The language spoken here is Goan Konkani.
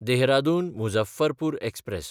देहरादून–मुझफ्फरपूर एक्सप्रॅस